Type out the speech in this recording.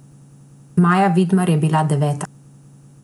Maja Vidmar je bila deveta.